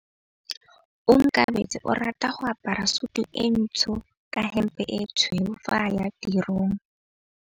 Onkabetse o rata go apara sutu e ntsho ka hempe e tshweu fa a ya tirong.